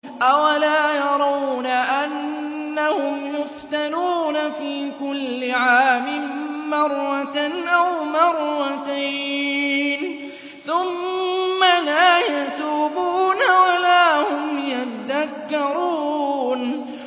أَوَلَا يَرَوْنَ أَنَّهُمْ يُفْتَنُونَ فِي كُلِّ عَامٍ مَّرَّةً أَوْ مَرَّتَيْنِ ثُمَّ لَا يَتُوبُونَ وَلَا هُمْ يَذَّكَّرُونَ